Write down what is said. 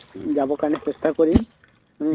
যাব কাৰণে চেষ্টা কৰিম